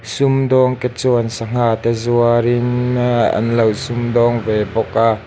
sumdawngte chuan sanghate zuarin ahhh an lo sumdawng ve bawk a.